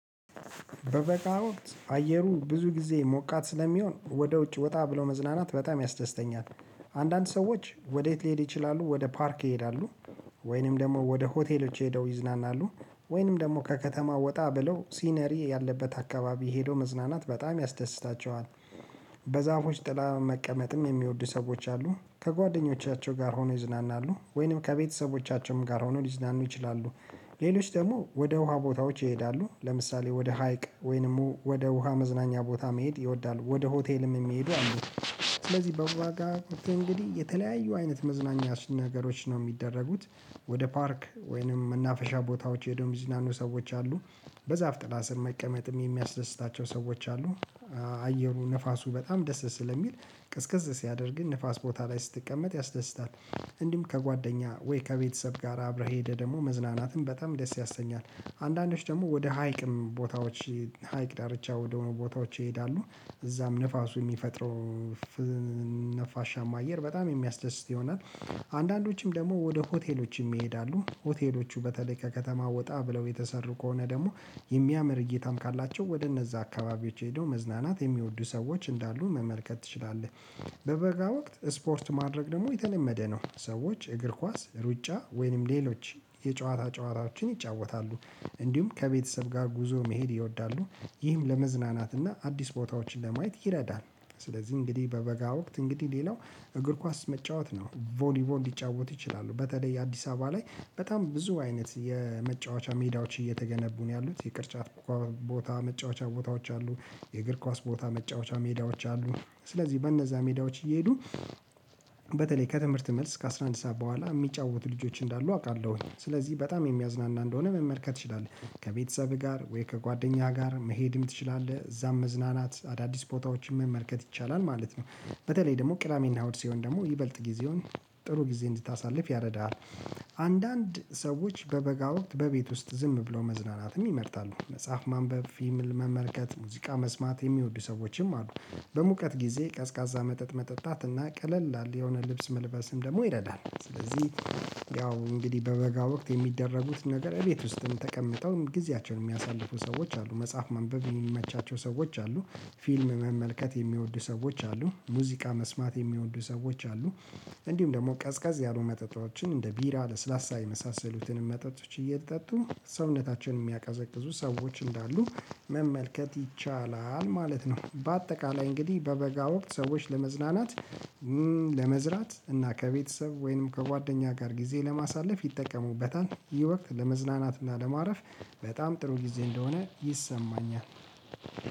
በበጋ ወቅት አየሩ ብዙ ጊዜ ሞቃት ስለሚሆን ወደ ውጭ ወጣ ብሎ መዝናናት በጣም ያስደስተኛል። አንዳንድ ሰዎች ወዴት ሊሄድ ይችላሉ ወደ ፓርክ ይሄዳሉ። ወይንም ደግሞ ወደ ሆቴሎች ሄደው ይዝናናሉ። ወይንም ደግሞ ከከተማው ወጣ ብለው ሲነሪ ያለበት አካባቢ ሄዶ መዝናናት በጣም ያስደስታቸዋል። በዛፎች ጥላ መቀመጥም የሚወዱ ሰዎች አሉ ከጓደኞቻቸው ጋር ሆኖ ይዝናናሉ ወይንም ከቤተሰቦቻቸውም ጋር ሆኖ ሊዝናኑ ይችላሉ። ሌሎች ደግሞ ወደ ውሃ ቦታዎች ይሄዳሉ ለምሳሌ ወደ ሀይቅ ወይንም ወደ ውሃ መዝናኛ ቦታ መሄድ ይወዳሉ ወደ ሆቴልም የሚሄዱ አሉ። ስለዚህ በዋጋ እንግዲህ የተለያዩ አይነት መዝናኛ ነገሮች ነው የሚደረጉት። ወደ ፓርክ ወይንም መናፈሻ ቦታዎች ሄዶ ሚዝናኑ ሰዎች አሉ። በዛፍ ጥላ ስር መቀመጥም የሚያስደስታቸው ሰዎች አሉ። አየሩ ንፋሱ በጣም ደስ ስለሚል ቅዝቅዝ ሲያደርግ ንፋስ ቦታ ላይ ስትቀመጥ ያስደስታል። እንዲሁም ከጓደኛ ወይ ከቤተሰብ ጋር አብረህ ሄደህ ደግሞ መዝናናትም በጣም ደስ ያሰኛል። አንዳንዶች ደግሞ ወደ ሀይቅም ቦታዎች ሀይቅ ዳርቻ ወደሆኑ ቦታዎች ይሄዳሉ እዛም ንፋሱ የሚፈጥረው ነፋሻም አየር በጣም የሚያስደስት ይሆናል። አንዳንዶችም ደግሞ ወደ ሆቴሎችም ይሄዳሉ ሆቴሎቹ በተለይ ከከተማ ወጣ ብለው የተሰሩ ከሆነ ደግሞ የሚያምር እይታም ካላቸው ወደ እነዛ አካባቢዎች ሄደው መዝናናት የሚወዱ ሰዎች እንዳሉ መመልከት ትችላለህ። በበጋ ወቅት ስፖርት ማድረግ ደግሞ የተለመደ ነው ሰዎች እግር ኳስ ሩጫ ወይንም ሌሎች የጨዋታ ጨዋታዎችን ይጫወታሉ። እንዲሁም ከቤተሰብ ጋር ጉዞ መሄድ ይወዳሉ። ይህም ለመዝናናት እና አዲስ ቦታዎችን ለማየት ይረዳል። ስለዚህ እንግዲህ በበጋ ወቅት እንግዲህ ሌላው እግር ኳስ መጫወት ነው ቦሊቦል እንዲጫወቱ ይችላሉ በተለይ አዲስ አበባ ላይ በጣም ብዙ አይነት የመጫወቻ ሜዳዎች እየተገነቡ ነው ያሉት የቅርጫት ቦታ መጫወቻ ቦታዎች አሉ። የእግር ኳስ ቦታ መጫወቻ ሜዳዎች አሉ። ስለዚህ በእነዛ ሜዳዎች እየሄዱ በተለይ ከትምህርት መልስ ከአሥራ አንድ ሰዓት በኋላ የሚጫወቱ ልጆች እንዳሉ አውቃለሁኝ ስለዚህ በጣም የሚያዝናና እንደሆነ መመልከት ትችላለህ። ከቤተሰብህ ጋር ወይ ከጓደኛህ ጋር መሄድም ትችላለህ እዛም መዝናናት አዳዲስ ቦታዎችን መመልከት ይቻላል ማለት ነው። በተለይ ደግሞ ቅዳሜና እሁድ ሲሆን ደግሞ ይበልጥ ጊዜውን ጥሩ ጊዜ እንድታሳልፍ ያረዳሃል። አንዳንድ ሰዎች በበጋ ወቅት በቤት ውስጥ ዝም ብሎ መዝናናትም ይመርጣሉ መጽሐፍ ማንበብ ፊልም መመልከት ሙዚቃ መስማት የሚወዱ ሰዎችም አሉ። በሙቀት ጊዜ ቀዝቃዛ መጠጥ መጠጣት እና ቀለል አለ የሆነ ልብስ መልበስም ደግሞ ይረዳል። ስለዚህ ያው እንግዲህ በበጋ ወቅት የሚደረጉት ነገር እቤት ውስጥም ተቀምጠውም ጊዜያቸውን የሚያሳልፉ ሰዎች አሉ መጽሐፍ ማንበብ የሚመቻቸው ሰዎች አሉ። ፊልም መመልከት የሚወዱ ሰዎች አሉ ሙዚቃ መስማት የሚወዱ ሰዎች አሉ። እንዲሁም ደግሞ ቀዝቀዝ ያሉ መጠጣችን እንደ ቢራ ለስላሳ የመሳሰሉትንም መጠጦች እየተጠጡ ሰውነታችንን የሚያቀዘቅዙ ሰዎች እንዳሉ መመልከት ይቻላል ማለት ነው። በአጠቃላይ እንግዲህ በበጋ ወቅት ሰዎች ለመዝናናት ለመዝራት እና ከቤተሰብ ወይንም ከጓደኛ ጋር ጊዜ ለማሳለፍ ይጠቀሙበታል። ይህ ወቅት ለመዝናናትና ለማረፍ በጣም ጥሩ ጊዜ እንደሆነ ይሰማኛል።